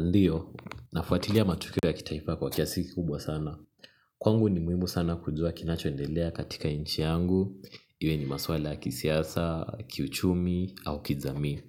Ndiyo, nafuatilia matukio ya kitaifa kwa kiasi kubwa sana. Kwangu ni muhimu sana kujua kinachoendelea katika inchi yangu iwe ni maswala ya kisiasa kiuchumi au kijamii